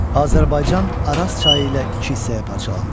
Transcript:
Azərbaycan Araz çayı ilə iki hissəyə parçalandı.